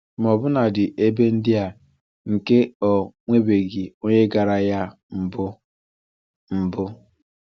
Ma ọbụnadi ebe ndị a nke ọ nwebeghị onye gara ya na mbu. mbu.